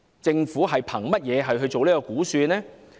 政府憑甚麼作出這項估算呢？